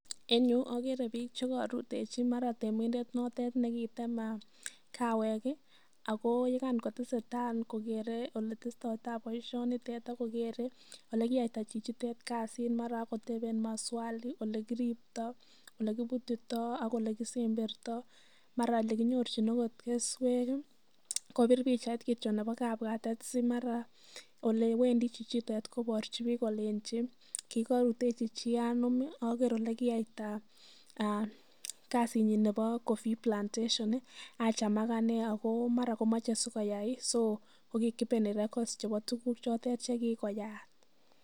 En yu ogere biik chekorutechi mara tiimindet notet ne kitem kawek ago yekan kotesetai kogere ole tesetai boisionitet ak kogere ole kiiyaita chichitet kasit mara ak koteben maswali olekiribto, ole kibutito, ole kisemberto, mara ele kinyorchina agot keswek, kobir pichait kityo nebo kabwatet si mara ko ole wendi chichitet koborchi biik kolenji kigorutechi chi anom oger ele kiyaita kasinyin nebo coffee plantation acham ak anee ago mara komoche sikoyai, so ko ki kipeni records chebo tuguk chotet ch ekigoyaat.